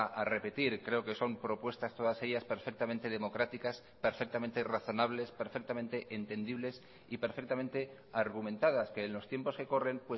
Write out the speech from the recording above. a repetir creo que son propuestas todas ellas perfectamente democráticas perfectamente razonables perfectamente entendibles y perfectamente argumentadas que en los tiempos que corren